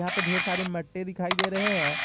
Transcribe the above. यहां पे ढेर सारे मट्टे दिखाई दे रहे हैं।